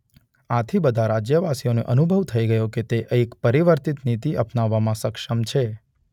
આથી બધા રાજ્યવાસીઓને અનુભવ થઈ ગયો કે તે એક પરિવર્તિત નીતિ અપનાવવામાં સક્ષમ છે.